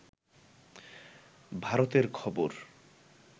ভারতের খবর